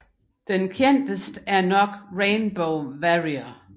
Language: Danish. Det kendteste er nok Rainbow Warrior